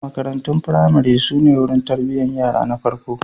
Marantun firamare su ne wurin tarbiyyar yara na farko.